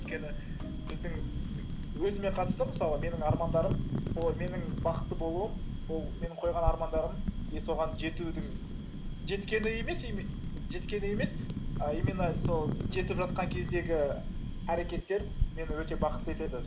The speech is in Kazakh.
өйткені біздің өзіме қатысты мысалы менің армандарым ол менің бақытты болуым ол менің қойған армандарым и соған жетудің жеткені емес а именно сол жетіп жатқан кездегі әрекеттер мені өте бақытты етеді